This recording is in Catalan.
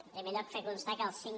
en primer lloc fer constar que el cinc